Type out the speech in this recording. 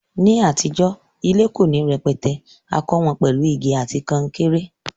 Ní àtijó, ilé ko ni rẹpẹtẹ, a kó won pèlu igi àti kankéré